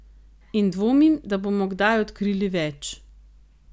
In dvomim, da bomo kdaj odkrili več.